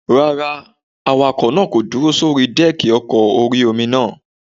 Rárá, awakọ̀ náà kò dúró sórí dẹ́ẹ̀kì ọkọ̀ orí-omi náà